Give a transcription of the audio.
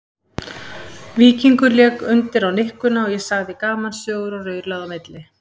Víkingur lék undir á nikkuna og ég sagði gamansögur og raulaði á milli.